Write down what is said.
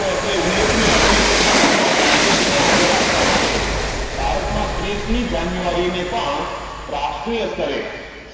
તો તે ઉલ્લેખ નીય છે કે મહાત્મા ગાંધીજી ને આદર આપવા માટે ભારત માં ત્રીસ મી જાન્યુઆરી ને પણ રાષ્ટ્રીય સ્તરે